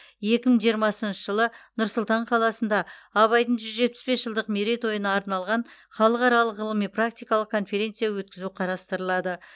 екі мың жиырмасыншы жылы нұр сұлтан қаласында абайдың жүз жетпіс бес жылдық мерейтойына арналған халықаралық ғылыми практикалық конференция өткізу қарастырылады